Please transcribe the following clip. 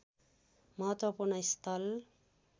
महत्त्वपूर्ण स्थल